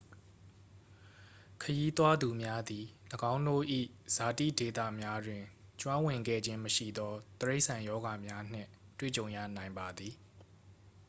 ခရီးသွားသူများသည် ၎င်းတို့၏ဇာတိဒေသများတွင် ကျွမ်းဝင်ခဲ့ခြင်းမရှိသော တိရိစ္ဆာန်ရောဂါများနှင့် တွေ့ကြုံရနိုင်ပါသည်